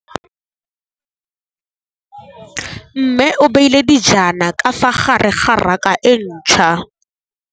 Mmê o beile dijana ka fa gare ga raka e ntšha.